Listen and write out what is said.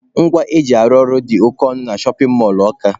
Ngwa eji arụ ụlọ dị oke ọnụ na shọpin mọlụ Ọka.